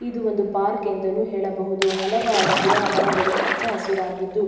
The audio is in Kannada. ಇದು ಒಂದು ಪಾರ್ಕ್ ಎಂದುನು ಹೇಳಬಹುದು. ಹಲವಾರು ಗಿಡ ಮರಗಳು ಹಚ್ಚ ಹಸಿರಾಗಿದ್ದು--